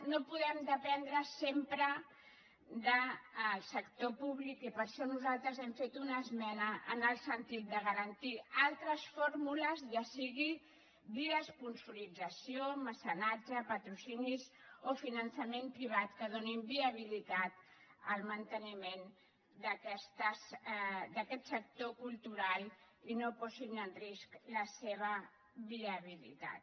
no podem dependre sempre del sector públic i per això nosaltres hem fet una esmena en el sentit de garantir altres fórmules ja sigui via esponsorització mecenatge patrocinis o finançament privat que donin viabilitat al manteniment d’aquest sector cultural i no posin en risc la seva viabilitat